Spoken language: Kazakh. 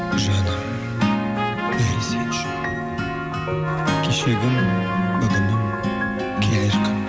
жаным бәрі сен үшін кешегім бүгінім келер күн